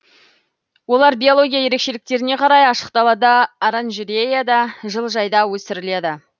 олар биология ерекшеліктеріне қарай ашық далада оранжереяда жылыжайда өсіріледі